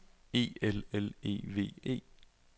E L L E V E